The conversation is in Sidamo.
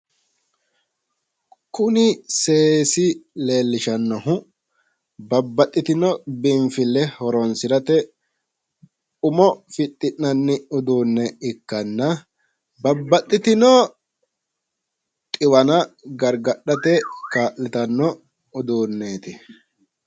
kuni seesi leellishshannohu babaxitino biinfille horonsirate umo fixxi'nanni uduunne ikkanna babaxitino xiwana gargadhate kaa'litanno uduunneeti.